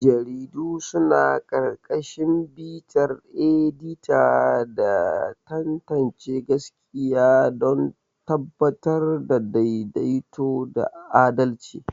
Jaridu suna ƙarƙashin bitar edita da tantance gaskiya don tabbatar da daidaito da adalci.